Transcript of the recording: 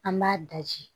An b'a daji